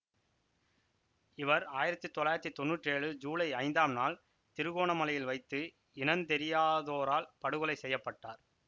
இவர் ஆயிரத்தி தொள்ளாயிரத்தி தொன்னூற்று ஏழு சூலை ஐந்தாம் நாள் திருகோணமலையில் வைத்து இனந்தெரியாதோரால் படுகொலை செய்ய பட்டார்